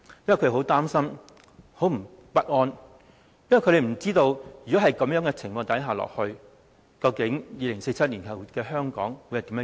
因為他們很擔心，感到很不安，因為他們不知道，如果這種情況持續，究竟2047年後的香港會變成怎麼樣？